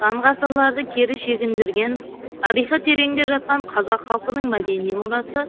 сан ғасырларды кері шегіндірген тарихы тереңде жатқан қазақ халқының мәдени мұрасы